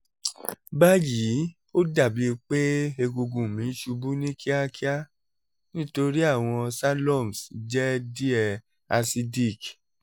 bayi o dabi pe egungun mi n ṣubu ni kiakia nitori awọn salums jẹ diẹ acidic